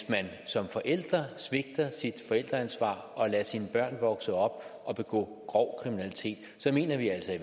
som forældre svigter sit forældreansvar og lader sine børn vokse op og begå grov kriminalitet så mener vi altså